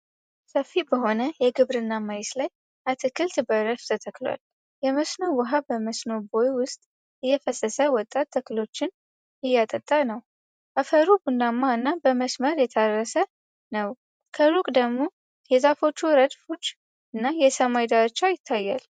ሰፊ በሆነ የግብርና መሬት ላይ አትክልት በረድፍ ተተክሏል። የመስኖ ውኃ በመስኖ ቦይ ውስጥ እየፈሰሰ ወጣት ተክሎችን እያጠጣ ነው። አፈሩ ቡናማ እና በመስመር የታረሰ ነው። ከሩቅ ደግሞ የዛፎች ረድፎች እና የሰማይ ዳርቻ ይታያል።